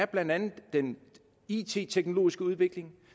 blandt andet er den it teknologiske udvikling